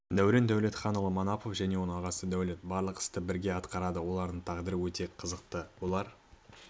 дәурен дәулетханұлы манапов және оның ағасы дәулет барлық істі бірге атқарады олардың тағдыры өте қызықты олар